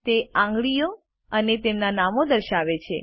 તે આંગળીઓ અને તેમના નામો દર્શાવે છે